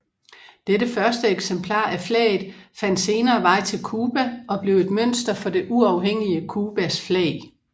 Dette første eksemplar af flaget fandt senere vej til Cuba og blev et mønster for det uafhængige Cubas flag